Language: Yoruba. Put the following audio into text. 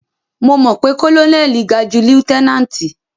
Mo mọ̀ pé kólónẹ́lì ga ju lieutẹ́náǹtì.